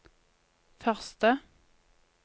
første